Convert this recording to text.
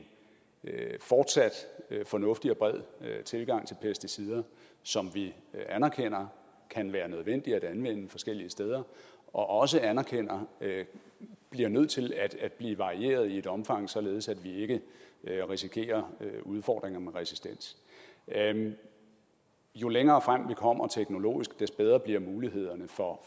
fortsat fornuftig og bred tilgang til pesticider som vi anerkender kan være nødvendige at anvende forskellige steder og også anerkender bliver nødt til at blive varieret i et omfang således at vi ikke risikerer udfordringer med resistens jo længere frem vi kommer teknologisk des bedre bliver mulighederne for